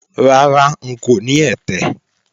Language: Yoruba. Rárá, ń kò ní ẹ̀tẹ̀